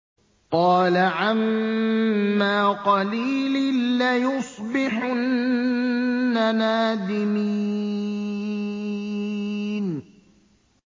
قَالَ عَمَّا قَلِيلٍ لَّيُصْبِحُنَّ نَادِمِينَ